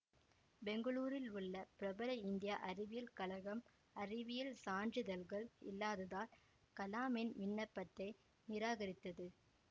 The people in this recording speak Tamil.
பெங்களூருவில் உள்ள பிரபல இந்திய அறிவியல் கழகம் அறிவியல் சான்றிதழ்கள் இல்லாததால் கலாமின் விண்ணப்பத்தை நிராகரித்தது